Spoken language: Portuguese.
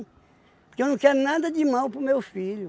Porque eu não quero nada de mal para o meu filho.